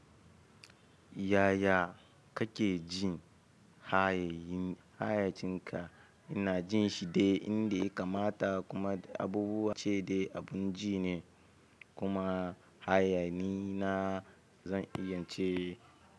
Yaya kake jin hayayen hayacinka? Ina jin shi dai inda ya kamata kuma abubuwa ce da abun ji ne kuma hayani na zan iya ce.